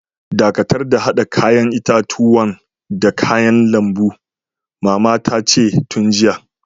Dakatar da hada yayan itatuwan da kayan lambun, mama ta ce mun jiya.